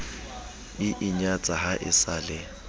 inyatsa ha e sa le